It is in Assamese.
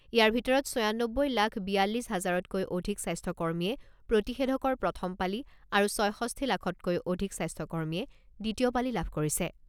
ইয়াৰ ভিতৰত ছয়ানব্বৈ লাখ বিয়ালিছ হাজাৰতকৈ অধিক স্বাস্থ্যকৰ্মীয়ে প্ৰতিষেধকৰ প্ৰথম পালি আৰু ছয়ষষ্ঠি লাখতকৈ অধিক স্বাস্থ্যকৰ্মীয়ে দ্বিতীয় পালি লাভ কৰিছে।